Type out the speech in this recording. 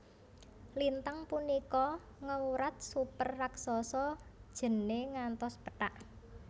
Lintang punika ngewrat super raksasa jene ngantos pethak